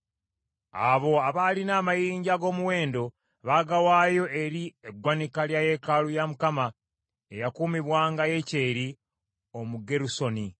Abo abaalina amayinja ag’omuwendo, baagawaayo eri eggwanika lya yeekaalu ya Mukama , eyakuumibwanga Yekyeri Omugerusoni.